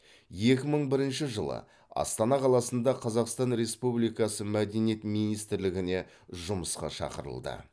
екі мың бірінші жылы астана қаласында қазақстан республикасы мәдениет министрлігіне жұмысқа шақырылды